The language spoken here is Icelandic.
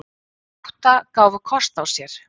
Átta gáfu kost á sér.